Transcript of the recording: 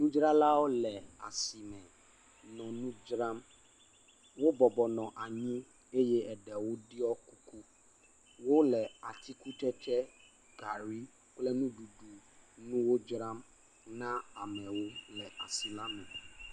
Nudzralawo le asime nɔ nu dzram. Wo bɔbɔnɔ anyi eye eɖewo ɖɔ kuku. Wole atikutsetse, gari kple nuɖuɖu wo dzram na amewo leasi la me.